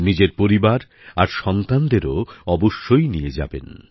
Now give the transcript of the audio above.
নিজের পরিবার আর সন্তানদেরও অবশ্যই নিয়ে যাবেন